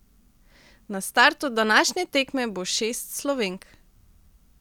Na startu današnje tekme bo šest Slovenk.